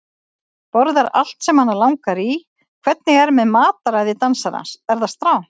Borðar allt sem hana langar í Hvernig er með mataræði dansarans, er það strangt?